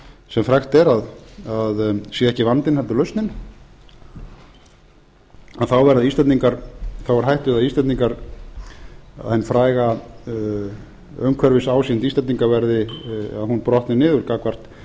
sem frægt er að sé ekki vandinn heldur lausnin þá er hætt við að hin fræga umhverfisásýnd íslendinga brotni niður gagnvart